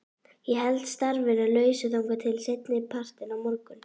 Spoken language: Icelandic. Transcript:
Ég held starfinu lausu þangað til seinni partinn á morgun.